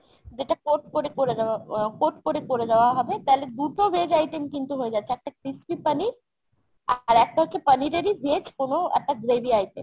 যেটা coat করে করে দেওয়া coat করে করে দেওয়া হবে। তালে দুটো veg item কিন্তু হয়ে যাচ্ছে। একটা crispy পনির আর একটা হচ্ছে পনিরেরই veg কোনো একটা gravy item।